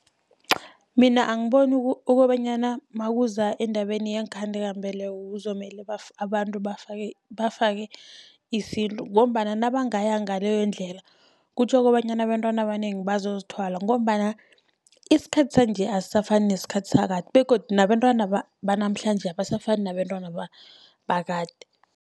Mina angiboni kobanyana nakuza endabeni yeenkhandelambeleko kuzokumele abantu bafake, bafake isintu, ngombana nabangaya ngaleyo ndlela kutjho kobanyana abentwana abanengi bazozithwala. Ngombana isikhathi sanje asisafani nesikhathi sakade begodu nabentwana banamhlanje abasafani nabentwana bakade.